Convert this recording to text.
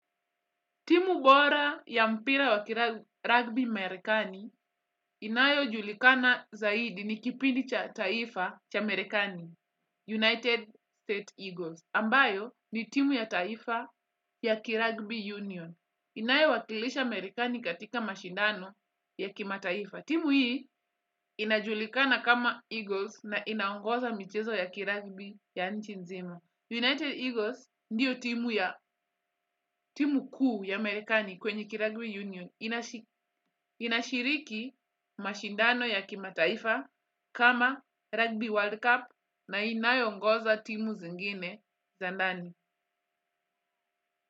Timu bora ya mpira wa kiragbi marekani inayo julikana zaidi ni kipindi cha taifa cha Amerikani, United State Eagles. Ambayo ni timu ya taifa ya kiragbi Union. Inayo wakilisha Amerikani katika mashindano ya kima taifa. Timu hii inajulikana kama Eagles na inaongoza michezo ya kiragbi ya nchi nzima. United Eagles ndiyo timu ya timu kuu ya Amerikani kwenye kiragbi union. Inashiriki mashindano ya kimataifa kama rugby world cup na inayongoza timu zingine zandani.